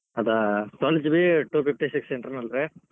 ಅದ್ twelve GB two fifty six internal ರೀ.